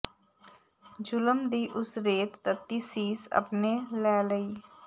ਜ਼ੁਲਮ ਦੀ ਉਸ ਰੇਤ ਤੱਤੀ ਸੀਸ ਅਪਣੇ ਲੈ ਲਈ